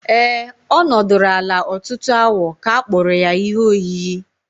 Ee, ọ nọdụrụ ala ọtụtụ awa ka a kpụrụ ya ihe oyiyi.